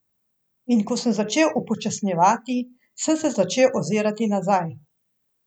In ko sem začel upočasnjevati, sem se začel ozirati nazaj.